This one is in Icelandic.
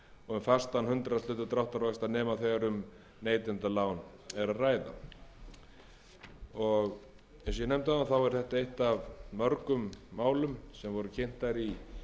og um fastan hundraðshluta dráttarvaxta nema þegar um neytendalán er að ræða eins og ég nefndi áðan er þetta eitt af mörgum málum sem voru kynnt í